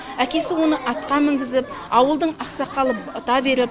әкесі оны атқа мінгізіп ауылдың ақсақалы бата беріп